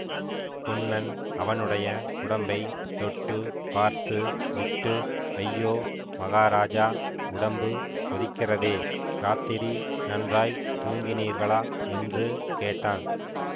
பொன்னன் அவனுடைய உடம்பை தொட்டு பார்த்து விட்டு ஐயோ மகாராஜா உடம்பு கொதிக்கிறதே இராத்திரி நன்றாய் தூங்கினீர்களா என்று கேட்டான்